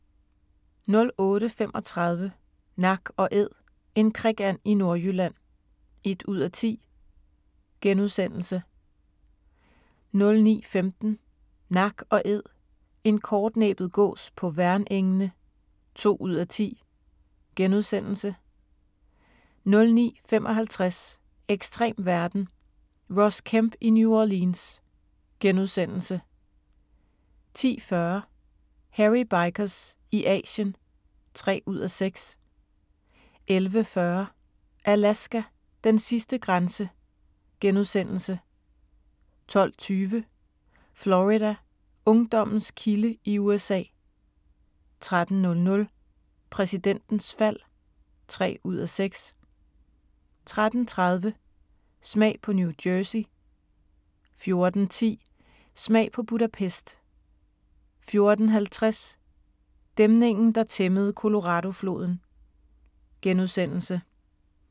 08:35: Nak & æd - en krikand i Nordjylland (1:10)* 09:15: Nak & Æd – en kortnæbbet gås på Værnengene (2:10)* 09:55: Ekstrem verden – Ross Kemp i New Orleans * 10:40: Hairy Bikers i Asien (3:6) 11:40: Alaska: Den sidste grænse * 12:20: Florida: Ungdommens kilde i USA 13:00: Præsidentens fald (3:6) 13:30: Smag på New Jersey 14:10: Smag på Budapest 14:50: Dæmningen der tæmmede Coloradofloden *